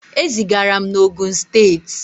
E zigara m na Ogun steeti.